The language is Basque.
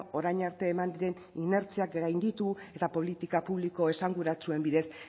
orain arte eman den inertziak gainditu eta politika publiko esanguratsuen bidez